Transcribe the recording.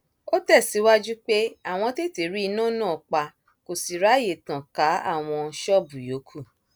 ó tẹsíwájú pé àwọn tètè rí iná náà pa kó sì ráàyè tàn ká àwọn àwọn ṣọọbù yòókù